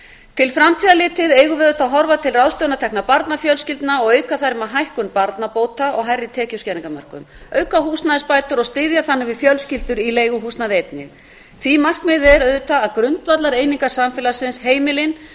til framtíðar litið eigum við auðvitað að horfa til ráðstöfunartekna barnafjölskyldna og auka þær með hækkun barnabóta og hærri tekjuskerðingarmörkum auka húsnæðisbætur og styðja þannig við fjölskyldur í leiguhúsnæði einnig því markmiðið er auðvitað að grundvallareiningar samfélagsins heimilin búi